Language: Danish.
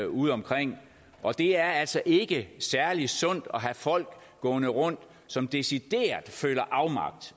udeomkring og det er altså ikke særlig sundt at have folk gående rundt som decideret føler afmagt